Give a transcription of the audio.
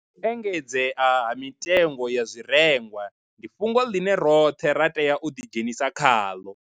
u engedzea ha mitengo ya zwirengwa ndi fhungo ḽine roṱhe ra tea u ḓidzhenisa khaḽo